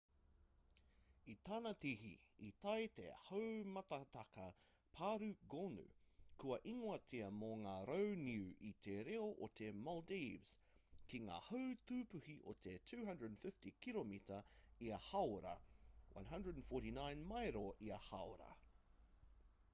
i tana tihi i tae te haumātakataka pārū gonu kua ingoatia mō ngā rau niu i te reo o te maldives ki ngā hau tūpuhi o te 240 kiromita ia hāora 149 mairo ia hāora